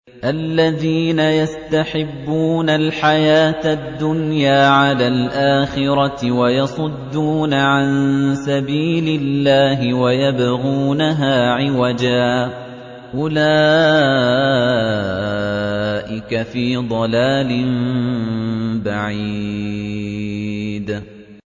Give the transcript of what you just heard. الَّذِينَ يَسْتَحِبُّونَ الْحَيَاةَ الدُّنْيَا عَلَى الْآخِرَةِ وَيَصُدُّونَ عَن سَبِيلِ اللَّهِ وَيَبْغُونَهَا عِوَجًا ۚ أُولَٰئِكَ فِي ضَلَالٍ بَعِيدٍ